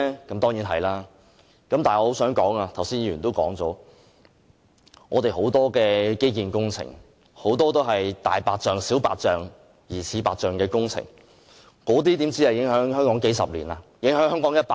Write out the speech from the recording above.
但是，我想說的是，正如剛才也有議員提及，我們很多的基建工程，當中很多是"大白象"、"小白象"及"疑似白象"的工程，那些工程不只影響香港數十年，甚至影響香港一百年！